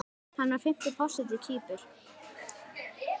Hann var fimmti forseti Kýpur.